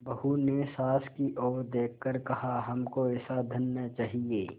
बहू ने सास की ओर देख कर कहाहमको ऐसा धन न चाहिए